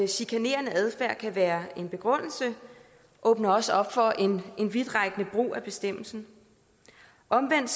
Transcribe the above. chikanerende adfærd kan være en begrundelse åbner også op for en vidtrækkende brug af bestemmelsen omvendt